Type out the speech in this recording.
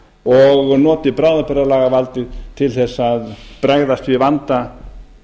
og noti bráðabirgðalagavaldið til þess að bregðast við vanda